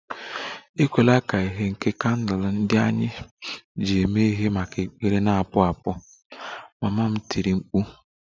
Ekwela ka ìhè nke kandụl ndị anyị ji mee ihe maka ekpere na-apụ apụ! Mama m tiri mkpu